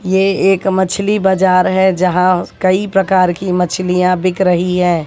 ये एक मछली बजार है यहां कई प्रकार की मछलियां बिक रही हैं।